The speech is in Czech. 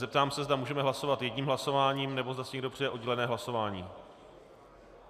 Zeptám se, zda můžeme hlasovat jedním hlasováním, nebo zda si někdo přeje oddělené hlasování.